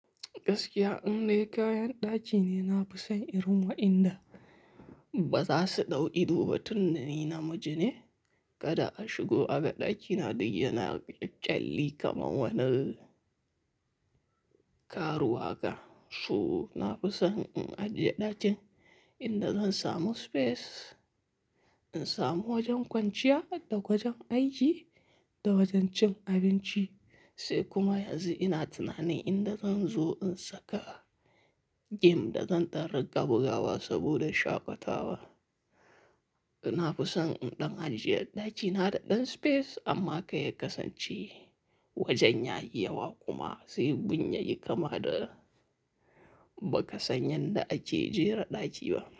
Gaskiya in dai kayan ɗaki ne, nafi son irin waɗanda ba za su ɗau ido ba tunda ni namiji ne. Kada a shigo a ga ɗakina duk yana ƙyalli kamar wani karuwa haka. So nafi son in ajiye ɗakin in da zan samu space, in samu wajen kwanciya da wajen aiki da wajen cin abinci. Sai kuma yanzu ina tunanin in da zan zo in saka game da zan ɗan rinƙa bugawa saboda shaƙatawa. Nafi son in ɗan ajiye ɗakina da ɗan space amma kar ya kasance wajen yayi yawa kuma, sai gun yayi kama da ba ka san yanda ake jera ɗaki ba.